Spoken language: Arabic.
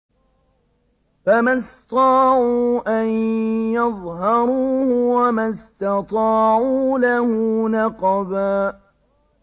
فَمَا اسْطَاعُوا أَن يَظْهَرُوهُ وَمَا اسْتَطَاعُوا لَهُ نَقْبًا